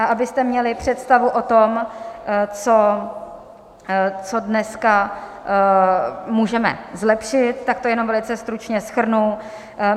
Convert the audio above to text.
A abyste měli představu o tom, co dneska můžeme zlepšit, tak to jenom velice stručně shrnu.